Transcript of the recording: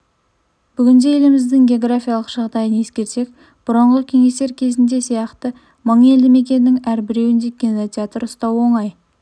бүгінде еліміздің географиялық жағдайын ескерсек бұрынғы кеңестер кезінде сияқты мың елді мекеннің әрбіреуінде кинотеатр ұстау оңай